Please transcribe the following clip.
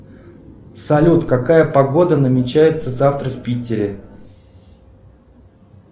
салют какая погода намечается завтра в питере